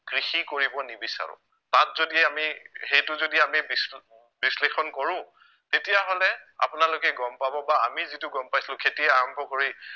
কৃষি কৰিব নিবিছাৰো তাত যদি আমি সেইটো যদি আমি বিশ্লে~ বিশ্লেষণ কৰো তেতিয়াহলে আপোনালোকে গম পাব বা আমি যিটো গম পাইছিলো খেতি আৰম্ভ কৰি